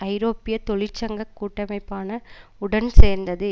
ஐரோப்பிய தொழிற்சங்க கூட்டமைப்பான உடன் சேர்ந்தது